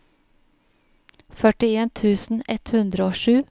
førtien tusen ett hundre og sju